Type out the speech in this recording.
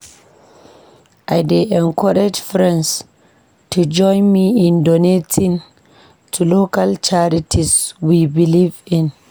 I dey encourage friends to join me in donating to local charities we believe in.